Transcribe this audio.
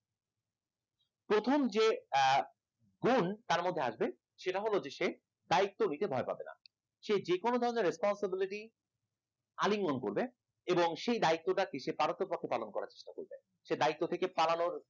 প্রথম যে আহ গুন তার মধ্যে আসবে সেটা হল যে দায়িত্ব কে ভয় পাবেন, সে যেকোন ধরণের responsibility আলিঙ্গন করবে এবং সে দায়িত্ব পারো তো পক্ষে পালন করার চেষ্টা করবে সে দায়িত্ব থেকে পালানোর